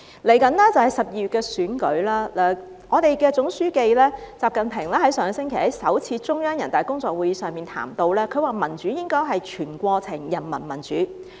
接着便是12月的選舉，我們的總書記習近平上星期在首次中央人大工作會議上談及，民主應該是全過程人民民主。